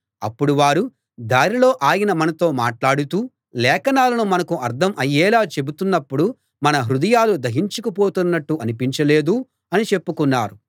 అప్పుడు వారు దారిలో ఆయన మనతో మాట్లాడుతూ లేఖనాలను మనకు అర్థం అయ్యేలా చెబుతున్నప్పుడు మన హృదయాలు దహించుకు పోతున్నట్టు అనిపించ లేదూ అని చెప్పుకున్నారు